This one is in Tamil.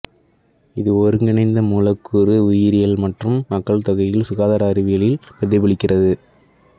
இது ஒருங்கிணைந்த மூலக்கூறு உயிரியல் மற்றும் மக்கள் தொகையில் சுகாதார அறிவியலில் பிரதிபலிக்கிறது